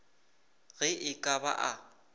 ge e ka ba a